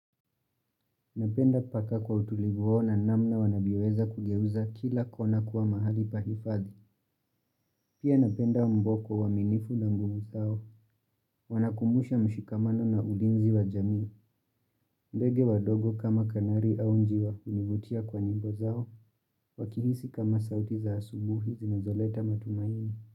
Napenda paka kwa utulivu wao na namna wanajiweza kugeuza kila kona kuwa mahali pa hifadhi. Pia napenda mboko uaminifu na mbumu zao. Wanakumbusha mshikamano na ulinzi wa jamii. Ndege wadogo kama kanari au njiwa univutia kwa nyimbo zao. Wakihisi kama sauti za asubuhi zinazoleta matumaini.